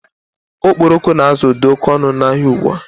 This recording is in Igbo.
Okporoko na azụ dị oké ọnụ n'ahia ụgbụa